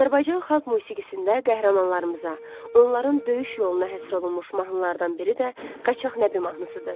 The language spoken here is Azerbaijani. Azərbaycan Xalq Musiqisində qəhrəmanlarımıza, onların döyüş yoluna həsr olunmuş mahnılardan biri də Qaçaq Nəbi mahnısıdır.